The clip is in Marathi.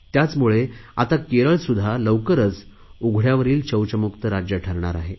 त्याचमुळे केरळसुध्दा लवकरच उघडयावरील शौचमुक्त राज्य ठरणार आहे